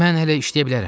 Mən hələ işləyə bilərəm.